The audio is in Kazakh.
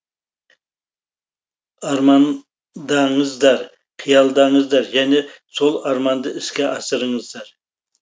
армандаңыздар қиялдаңыздар және сол арманды іске асырыңыздар